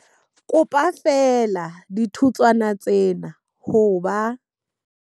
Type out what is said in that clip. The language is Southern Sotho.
Kopa feela dithutswana tsena ho ba.